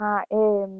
હા એમ,